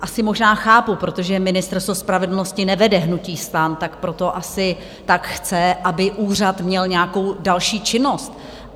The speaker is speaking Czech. Asi možná chápu, protože Ministerstvo spravedlnosti nevede hnutí STAN, tak proto asi tak chce, aby úřad měl nějakou další činnost.